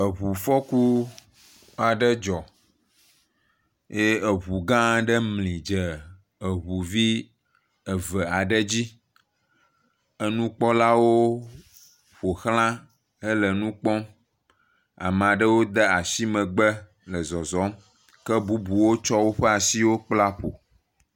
Ŋufɔku aɖe dzɔ eye ŋu gã aɖe mli dze ŋu vi eve aɖe dzi. Nukpɔlawo ƒoxlã hele nu kpɔm. Ame aɖewo de asi megbe le zɔzɔm ke bubuwo tsɔ woƒe asiwo kpla ƒo.